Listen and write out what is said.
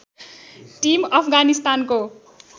team अफगानिस्तानको